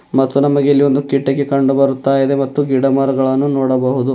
ಮತ್ತು ನಮಗೆ ಇಲ್ಲಿ ಒಂದು ಕಿಟಿಕೆ ಕಂಡು ಬರ್ತಾ ಇದೆ ಮತ್ತು ಗಿಡಮರಗಳನ್ನು ನೋಡಬಹುದು.